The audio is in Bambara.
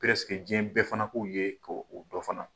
jiyɛn bɛɛ fana k'u ye ko o dɔn fana.